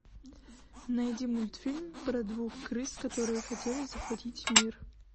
найди мультфильм про двух крыс которые хотели захватить мир